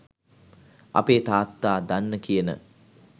අපේ තාත්තා දන්න කියන